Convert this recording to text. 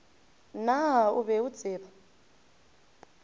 naa o be o tseba